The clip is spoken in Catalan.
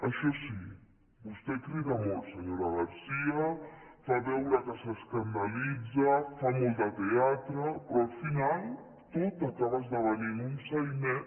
això sí vostè crida molt senyora garcía fa veure que s’escandalitza fa molt de teatre però al final tot acaba esdevenint un sainet